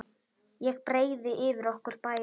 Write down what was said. Ég breiði yfir okkur bæði.